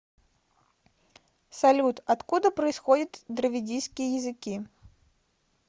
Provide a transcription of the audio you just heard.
салют откуда происходит дравидийские языки